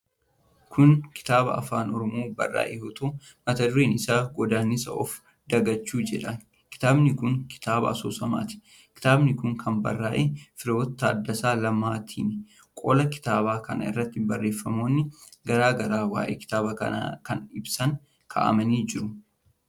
Kun kitaaba Afaan Oromoon barraa'e yoo ta'u, mata dureen isaa "Godaannisa Of Dagachuu" jedha. Kitaabi kun kitaaba asoosamaati. Kitaabi kun kan barraa'e Firiwoot Taaddasaa Lammaatinii. Qola kitaaba kanaa irratti barreefamoonni garaa garaa waa'ee kitaaba kanaa ibsan kaa'amanii jiru.